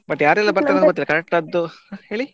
But ಯಾರೆಲ್ಲ ಬರ್ತಾರೆ ಅಂತ ಗೊತ್ತಿಲ್ಲ correct ಆದ್ದು ಹೇಳಿ.